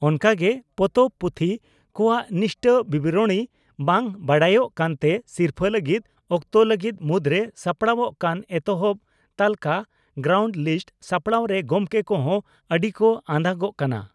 ᱚᱱᱠᱟᱜᱮ ᱯᱚᱛᱚᱵ/ᱯᱩᱛᱷᱤ ᱠᱚᱣᱟᱜ ᱱᱤᱥᱴᱟᱹ ᱵᱤᱵᱚᱨᱚᱬᱤ ᱵᱟᱝ ᱵᱟᱰᱟᱭᱚᱜ ᱠᱟᱱᱛᱮ ᱥᱤᱨᱯᱷᱟᱹ ᱞᱟᱹᱜᱤᱫ ᱚᱠᱛᱚ ᱞᱟᱹᱜᱤᱫ ᱢᱩᱫᱽᱨᱮ ᱥᱟᱯᱲᱟᱣᱚᱜ ᱠᱟᱱ ᱮᱛᱚᱦᱚᱵ ᱛᱟᱹᱞᱠᱟ (ᱜᱨᱟᱣᱱᱰ ᱞᱤᱥᱴ) ᱥᱟᱯᱲᱟᱣ ᱨᱮ ᱜᱚᱢᱠᱮ ᱠᱚᱦᱚᱸ ᱟᱹᱰᱤ ᱠᱚ ᱟᱫᱟ ᱜᱚᱜ ᱠᱟᱱᱟ ᱾